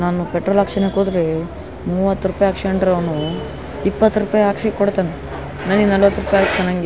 ನಾನು ಪೆಟ್ರೋಲ್ ಆಕ್ಸೊನಕ್ ಓದ್ರೆ ಮೂವತ್ತು ರುಪಯ್ ಆಕೆಸ್ಕೊಂಡ್ರೆ ಅವ್ನು ಇಪ್ಪತ್ತು ರುಪಯ್ ಆಕ್ಸೋಕೊಂಡು ಕೊಡ್ತಾನ್ ನನಿಗ್ ನಲ್ವತ್ ರೂಪಾಯ್ಗ್ ಹಾಕ್ಸ್ ತಾನ್ ಅಂಗೆ --